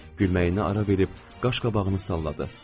Nəhayət, gülməyinə ara verib qaşqabağını salladı.